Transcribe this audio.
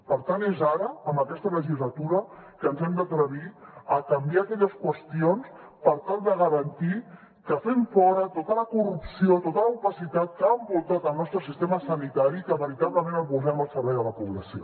per tant és ara en aquesta legislatura que ens hem d’atrevir a canviar aquelles qüestions per tal de garantir que fem fora tota la corrupció tota l’opacitat que ha envoltat el nostre sistema sanitari i que veritablement el posem al servei de la població